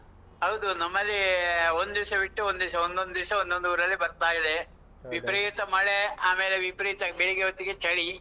ಹೌದು. ನಮ್ಮಲ್ಲಿ ಒಂದಿವ್ಸ ಬಿಟ್ಟು ಒಂದಿವ್ಸ, ಒಂದೊಂದ್ ದಿವ್ಸ ಒಂದೊಂದ್ ಊರಲ್ಲಿ ಬರ್ತಾ ಇದೆ. ವಿಪರೀತ . ಮಳೆ, ಆಮೇಲೆ ವಿಪರೀತ ಬೆಳಿಗ್ಗೆ ಹೊತ್ತಿಗೆ ಚಳಿ.